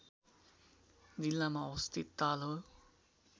जिल्लामा अवस्थित ताल हो